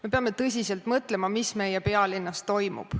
Me peame tõsiselt mõtlema, mis meie pealinnas toimub.